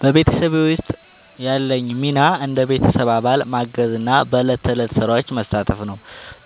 በቤተሰቤ ውስጥ ያለኝ ሚና እንደ ቤተሰብ አባል ማገዝና በዕለት ተዕለት ሥራዎች መሳተፍ ነው።